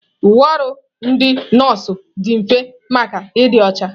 Uwe ọrụ ndị nọọsụ dị mfe maka ịdị ọcha.